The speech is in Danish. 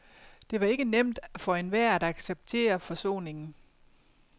Det var ikke nemt for enhver at acceptere forsoningen.